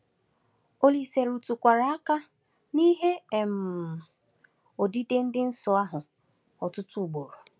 Olise rụtụkwara aka n’ihe um odide dị nsọ ahụ ọtụtụ ugboro.